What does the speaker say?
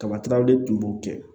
Kabatɛraw de tun b'o kɛ